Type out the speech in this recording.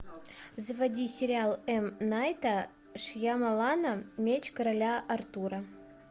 заводи сериал м найта шьямалана меч короля артура